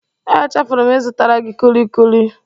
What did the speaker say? Echefuru m ịzụtara gị kulikuli.